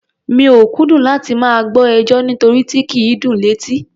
Mi ò kúndùn láti máa gbọ́ ẹjọ́, nírotí kì í dùn létí.